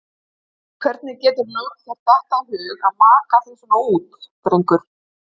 Hvernig GETURÐU látið þér detta í hug að maka þig svona út, drengur!